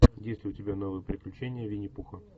есть ли у тебя новые приключения винни пуха